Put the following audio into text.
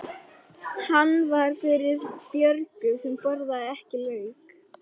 Hann var fyrir Björgu sem borðaði ekki lauk.